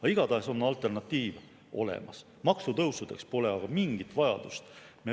Aga igatahes on alternatiiv olemas, maksutõusudeks pole aga mingit vajadust.